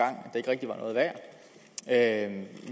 at